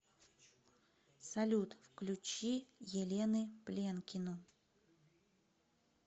салют включи елены пленкину